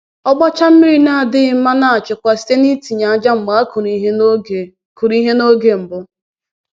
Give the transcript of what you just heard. Ọgbacha mmiri na-adịghị mma na-achịkwa site n’itinye ájá mgbe e kụrụ ihe n’oge kụrụ ihe n’oge mbụ.